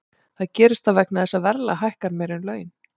Það gerist þá vegna þess að verðlag hækkar meira en laun.